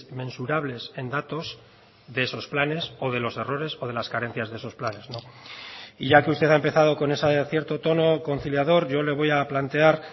mensurables en datos de esos planes o de los errores o de las carencias de esos planes y ya que usted ha empezado con esa cierto tono conciliador yo le voy a plantear